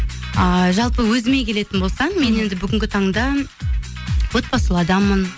ыыы жалпы өзіме келетін болсам мен енді бүгінгі таңда отбасылы адаммын